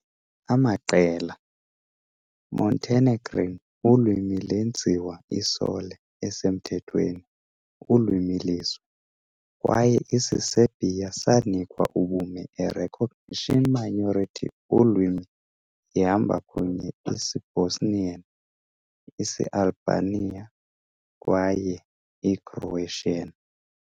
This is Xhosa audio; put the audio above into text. amaqela, - Montenegrin ulwimi lenziwa i-sole esemthethweni ulwimi lizwe, kwaye isiserbia sanikwa ubume a recognised minority ulwimi ihamba kunye Isibosnian, isialbania, kwaye i-croatian.